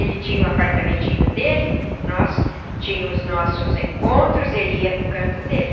Ele tinha um apartamentinho dele, nós tínhamos nossos encontros, ele ia para o canto dele.